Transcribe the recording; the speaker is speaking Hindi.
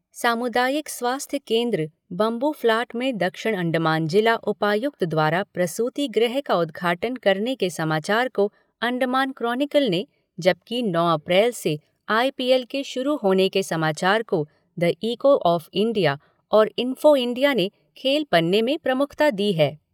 सामुदायिक स्वास्थ्य केन्द्र बम्बूफ़्लाट में दक्षिण अण्डमान जिला उपायुक्त द्वारा प्रसूति गृह का उद्घाटन करने के समाचार को अण्डमान कोनिकल ने, जबकि नौ अप्रैल से आईपीएल के शुरू होने के समाचार को द इको ऑफ़ इंडिया और इंफ़ो इंडिया ने खेल पन्ने में प्रमुखता दी है।